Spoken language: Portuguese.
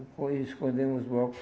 Escon escondemos os blocos.